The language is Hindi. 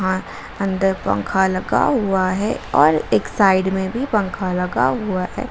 अंदर पंखा लगा हुआ है और एक साइड में भी पंखा लगा हुआ है।